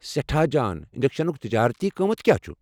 سٮ۪ٹھاہ جان۔ انجیکشنُك تجٲرتی قۭمتھ کیٚاہ چُھ؟